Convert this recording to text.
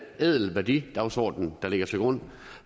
ædel værdidagsorden der ligger til grund